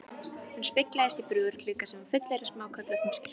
Hún speglaðist í búðarglugga sem var fullur af smáköflóttum skyrtum.